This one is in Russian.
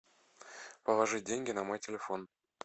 положить деньги на мой телефон